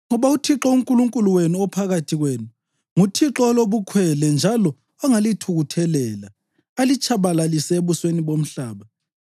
ngoba uThixo uNkulunkulu wenu, ophakathi kwenu, nguThixo olobukhwele njalo ongalithukuthelela, alitshabalalise ebusweni bomhlaba.